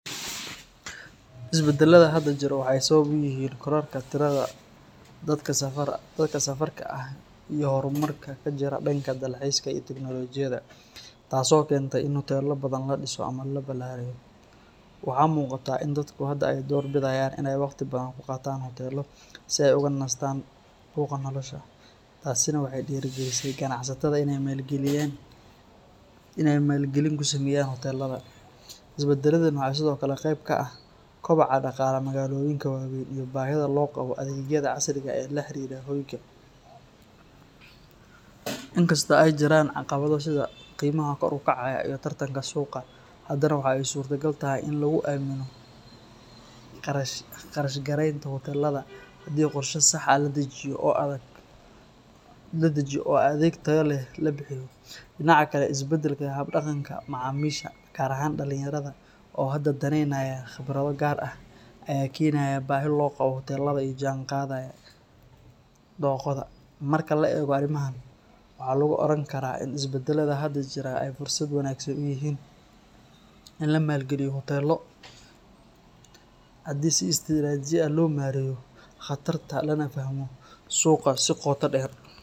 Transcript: Isbadaladha hada jiro waxee sawab uyihin qolalka tiradha dadka safarta ah tas oo kentay waxaa muqataa in ee door bidayan si ee oga nistan buqa tasena waxee dira galineysa ganacsataada ee malgalinta ee isbadala kusameyan, isbadaladha waxaa kamiid ah kob bahida lo qawo hoyga, in kasta ee jiran caqawada qimaha kor u kacaya hadana waxaa I surta gal ah qarash garenta hoteladha xalada jawi oo adag oo adheg tayo leh dinaca kale isbadalka hab daqanka macamisha gar ahan dalin yaradha oo hada daney naya qibraada ee kenaya bahiyo oo hutelaada ee la jihan qadhayan, doqoda waxaa ka miid ah isbadaladha hada jira waxee si wanagsan u yihin in lamal galiyo hotelo lana fahmo suqa.